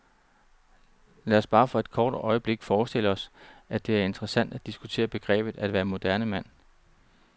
Lad os bare for et kort øjeblik forestille os, at det er interessant at diskutere begrebet at være moderne mand.